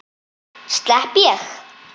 Slepp ég?